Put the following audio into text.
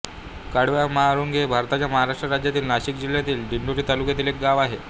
कडवाम्हाळुंगी हे भारताच्या महाराष्ट्र राज्यातील नाशिक जिल्ह्यातील दिंडोरी तालुक्यातील एक गाव आहे